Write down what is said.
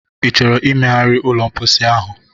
Ị chọrọ imegharị ụlọ mposi ahụ?